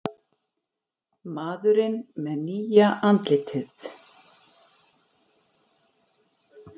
Maðurinn með nýja andlitið